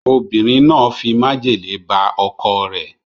Obinrin na fi majele ba oko re